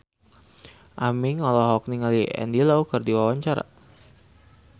Aming olohok ningali Andy Lau keur diwawancara